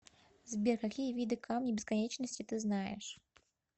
сбер какие виды камни бесконечности ты знаешь